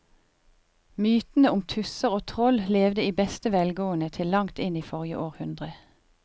Mytene om tusser og troll levde i beste velgående til langt inn i forrige århundre.